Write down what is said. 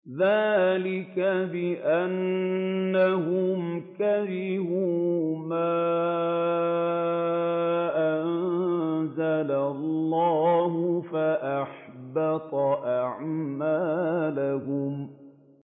ذَٰلِكَ بِأَنَّهُمْ كَرِهُوا مَا أَنزَلَ اللَّهُ فَأَحْبَطَ أَعْمَالَهُمْ